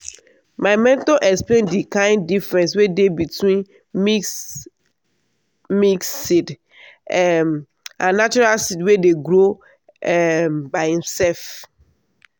my mentor explain the kain difference wey dey between mix-mix seed um and natural seed wey dey grow um by himself.